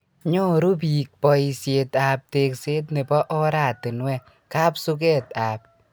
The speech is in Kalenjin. Nyoru biik boishet ab tekset nebo oratinwek, kapsuket ab